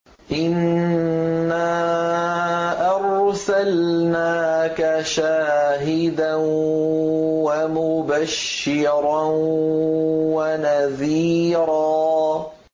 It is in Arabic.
إِنَّا أَرْسَلْنَاكَ شَاهِدًا وَمُبَشِّرًا وَنَذِيرًا